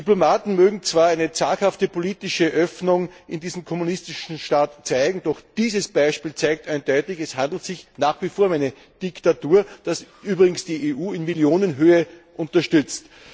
Diplomaten mögen zwar eine zaghafte politische Öffnung in diesem kommunistischen Staat sehen, doch dieses Beispiel zeigt eindeutig Es handelt sich nach wie vor um eine Diktatur was übrigens die EU in Millionenhöhe unterstützt.